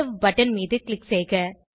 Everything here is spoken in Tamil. சேவ் பட்டன் மீது க்ளிக் செய்க